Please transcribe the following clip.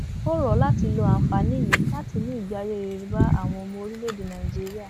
ó rọ ọ láti lo àǹfààní náà láti mú ìgbé ayé rere bá àwọn ọmọ orílẹèdè nàíjíríà